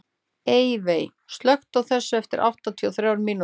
Eyveig, slökktu á þessu eftir áttatíu og þrjár mínútur.